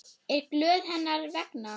Er glöð hennar vegna.